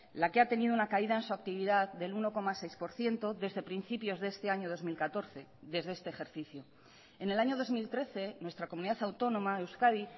la que ha tenido una caída en su actividad del uno coma seis por ciento desde principios de este año dos mil catorce desde este ejercicio en el año dos mil trece nuestra comunidad autónoma euskadi